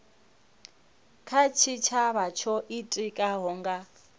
kha tshitshavha tsho itikaho nga